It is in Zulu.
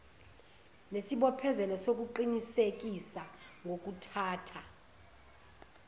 nesibophezelo sokuqinisekisa ngokuthatha